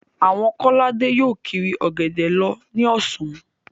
Àwọn Kọ́ládé yóò kiri Ọ̀gẹ̀dẹ̀ lọ ní ọ̀sán